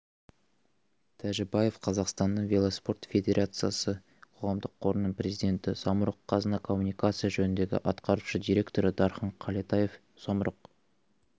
тәжібаев қазақстанның велоспорт федерациясы қоғамдық қорының президенті самұрық-қазына коммуникация жөніндегі атқарушы директоры дархан қалетаев самұрық